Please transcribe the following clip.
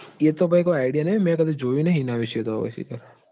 એ તો ભાઈ કોઈ idea નહી હો મેં કડી જોયું નહિ હો એના વિશે તો